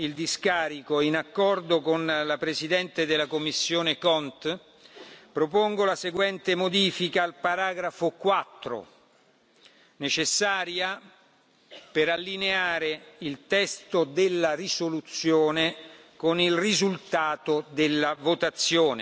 il discarico, in accordo con la presidente della commissione CONT propongo la seguente modifica al paragrafo 4, necessaria per allineare il testo della risoluzione con il risultato della votazione.